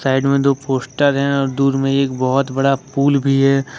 Side में दो poster है और दूर में एक बहुत बड़ा पुल भी है।